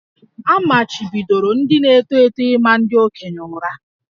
A machibidoro ndị na-eto eto ịma ndị okenye ụra